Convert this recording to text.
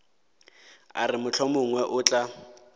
a re mohlomongwe o tla